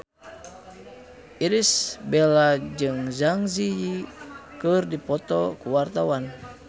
Irish Bella jeung Zang Zi Yi keur dipoto ku wartawan